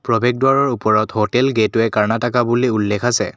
প্ৰবেশ দুৱাৰৰ ওপৰত হোটেল গেটওৱে কৰ্ণাটাকা বুলি উল্লেখ আছে।